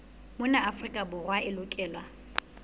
mona afrika borwa e lokelwa